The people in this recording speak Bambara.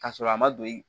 Ka sɔrɔ a ma don